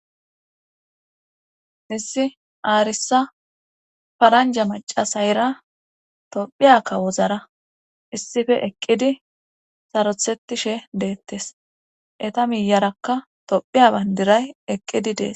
issi aarisa faranja macasayira tophiya kawozara issife eqqidi sarothettishe deettes eta miyarakka tophiya bandiray eqqidi dees